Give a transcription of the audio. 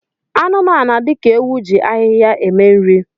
Anụmanụ dị ka ewu ji ahịhịa eme nri